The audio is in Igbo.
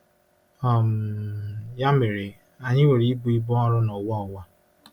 um Ya mere, anyị nwere ibu ibu ọrụ n'ụwa ụwa.